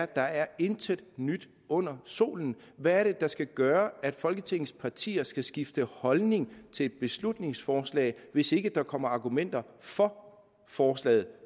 der er intet nyt under solen hvad er det der skal gøre at folketingets partier skal skifte holdning til et beslutningsforslag hvis ikke der kommer argumenter for forslaget